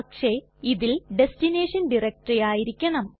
പക്ഷെ ഇതിൽ destination directory ആയിരിക്കണം